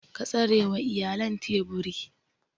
Ka tsarewa iyalan teburi.